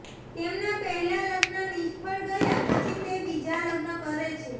તેમના પહેલા લગ્ન નિષ્ફળ ગયા પછી તે બીજા લગ્ન કરે છે